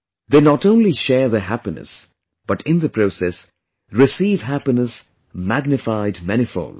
They not only share their happiness but in the process receive happiness magnified manifold